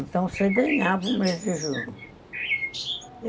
Então, você ganhava o mês de junho.